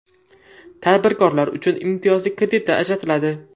Tadbirkorlar uchun imtiyozli kreditlar ajratiladi.